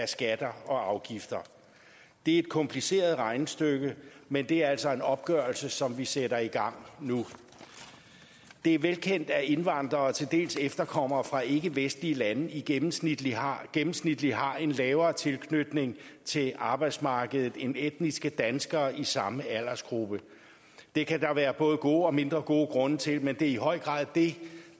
skatter og afgifter det er et kompliceret regnestykke men det er altså en opgørelse som vi sætter i gang nu det er velkendt at indvandrere og til dels efterkommere fra ikkevestlige lande gennemsnitligt har gennemsnitligt har en lavere grad af tilknytning til arbejdsmarkedet end etniske danskere i samme aldersgruppe det kan der være både gode og mindre gode grunde til men det er i høj grad det